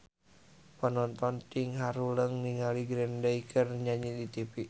Panonton ting haruleng ningali Green Day keur nyanyi di tipi